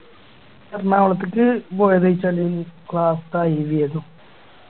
എറണാകുളത്തേക്ക് പോയെന്ന് വെച്ചാല് Class ത്തെ IV ആയിന്നു